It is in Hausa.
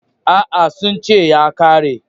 A'a, sun ce ya ƙare.